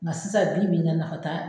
Mɛ sisan bibi in na, nafa t'a la.